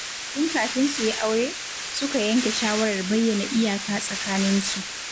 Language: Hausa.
Tun kafin su yi aure, suka yanke shawarar bayyana iyaka tsakaninsu.